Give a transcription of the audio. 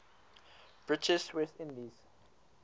british west indies